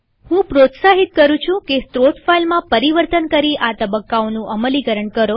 હું તમને પ્રોત્સાહિત કરું છું કે સ્ત્રોત ફાઈલમાં પરિવર્તન કરીઆ તબક્કાઓનું અમલીકરણ કરો